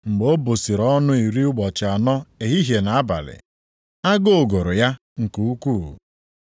Mgbe o busiri ọnụ iri ụbọchị anọ ehihie na abalị, agụụ gụrụ ya nke ukwuu.